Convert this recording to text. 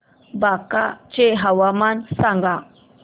बांका चे हवामान सांगा